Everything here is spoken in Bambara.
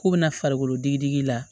K'u bɛna farikolo digi digi la